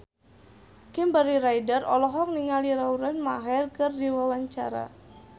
Kimberly Ryder olohok ningali Lauren Maher keur diwawancara